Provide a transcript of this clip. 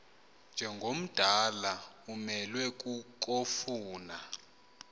njengomdala umelwe kukofuna